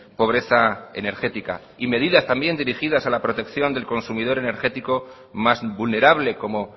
pobreza energética y medidas también dirigidas a la protección del consumidor energético más vulnerable como